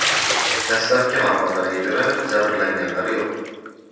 Dastlabki ma’lumotlarga ko‘ra, jabrlanganlar yo‘q.